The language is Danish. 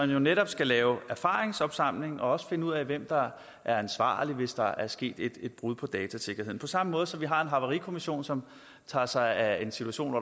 jo netop skal lave erfaringsopsamling og også finde ud af hvem der er ansvarlig hvis der er sket et brud på datasikkerheden på samme måde som vi har en havarikommission som tager sig af en situation